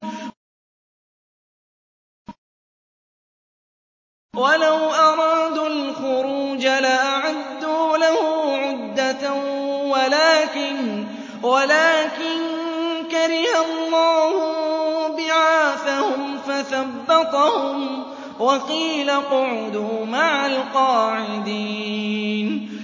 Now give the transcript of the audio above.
۞ وَلَوْ أَرَادُوا الْخُرُوجَ لَأَعَدُّوا لَهُ عُدَّةً وَلَٰكِن كَرِهَ اللَّهُ انبِعَاثَهُمْ فَثَبَّطَهُمْ وَقِيلَ اقْعُدُوا مَعَ الْقَاعِدِينَ